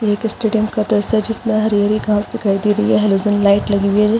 एक स्टेडियम का दृश्य है जिसमे हरी - हरी घास दिखाई दे रही है हलोजेन लाइट लगी हुई है।